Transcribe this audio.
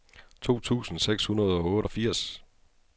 to tusind seks hundrede og otteogfirs